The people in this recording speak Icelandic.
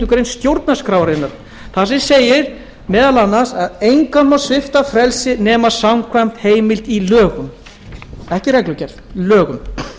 grein stjórnarskrárinnar þar sem segir meðal annars að engan megi svipta frelsi nema samkvæmt heimild í lögum ekki í reglugerð lögum